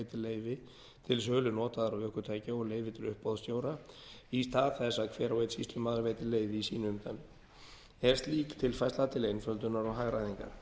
leyfi til sölu notaðra ökutækja og leyfi til uppboðsstjóra í stað þess að hver og einn sýslumaður veiti leyfi í sínu umdæmi er slík tilfærsla til einföldunar og hagræðingar